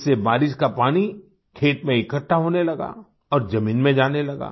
इससे बारिश का पानी खेत में इकठ्ठा होने लगा और जमीन में जाने लगा